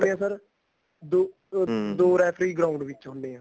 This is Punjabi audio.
ਏ sir ਦੋ ਦੋ ਰੇਫ਼ਰੀ ground ਵਿਚ ਹੁੰਦੇ ਏ